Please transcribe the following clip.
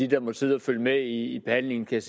der måtte sidde og følge med i behandlingen kan